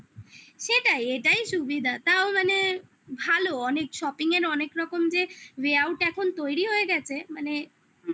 সেটাই, এটাই সুবিধা তাও মানে ভালো অনেক shopping এর অনেক রকম যে way out এখন তৈরি হয়ে গেছে মানে